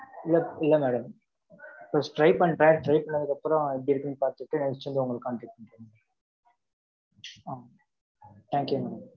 இல்ல இல்லை madam. first try பண்றேன். Try பண்ணதுக்கு அப்புறம், எப்படி இருக்குன்னு பார்த்துட்டு, actually உங்களுக்கு contact பண்றே Thank you madam